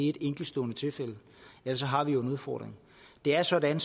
et enestående tilfælde ellers har vi jo en udfordring det er sådan